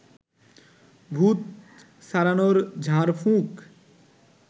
ভূত ছাড়ানোর ঝাড়ফুঁক